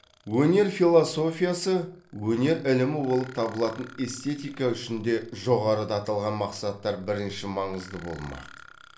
өнер философиясы өнер ілімі болып табылатын эстетика үшін де жоғарыда аталған мақсаттар бірінші маңызды болмақ